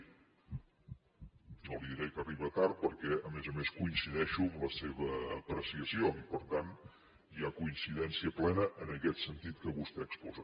ni li diré que arriba tard perquè a més a més coincideixo amb la seva apreciació i per tant hi ha coincidència plena en aquest sentit que vostè exposa